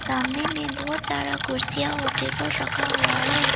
आंधे में बहुत सारा कुर्सियां और टेबल रखा हुआ है।